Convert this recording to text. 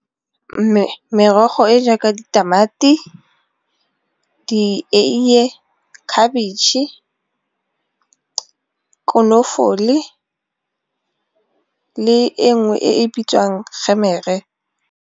Merogo e jaaka ditamati, dieiye, khabitšhe, konofole, le e nngwe e bitswang .